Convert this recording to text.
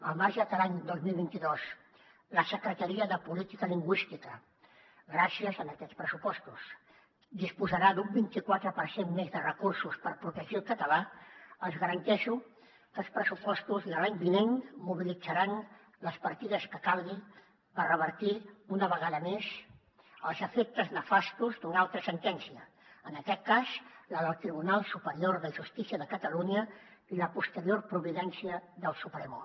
al marge que l’any dos mil vint dos la secretaria de política lingüística gràcies a aquests pressupostos disposarà d’un vint i quatre per cent més de recursos per protegir el català els garanteixo que els pressupostos de l’any vinent mobilitzaran les partides que calgui per revertir una vegada més els efectes nefastos d’una altra sentència en aquest cas la del tribunal superior de justícia de catalunya i la posterior providència del supremo